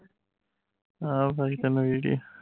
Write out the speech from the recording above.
ਆਹ ਤੈਨੂੰ video